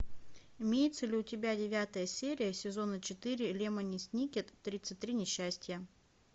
имеется ли у тебя девятая серия сезона четыре лемони сникет тридцать три несчастья